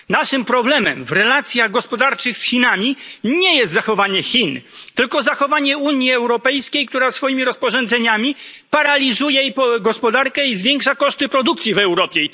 Naszym problemem w relacjach gospodarczych z Chinami nie jest zachowanie Chin tylko zachowanie Unii Europejskiej, która swoimi rozporządzeniami paraliżuje gospodarkę i zwiększa koszty produkcji w Europie.